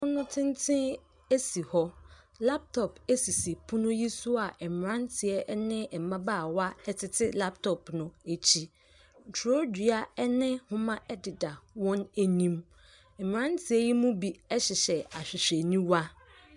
Pono tenten si hɔ. Laptop sisi pono yi so a mmeranteɛ ne mmabaawa tete laptop no akyi. Twerɛdua ne nhoma deda wɔn anim. Mmeranteɛ yi mu bi hyehyɛ ahwehwɛniwa.